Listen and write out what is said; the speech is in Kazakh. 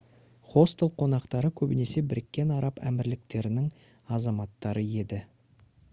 хостел қонақтары көбінесе біріккен араб әмірліктерінің азаматтары еді